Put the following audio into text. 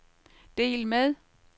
del med